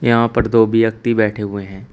यहां पर दो व्यक्ति बैठे हुए हैं।